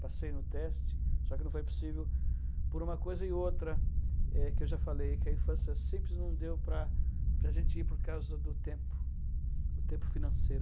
Passei no teste, só que não foi possível por uma coisa e outra, eh, que eu já falei, que a infância simples não deu para a gente ir por causa do tempo, o tempo financeiro.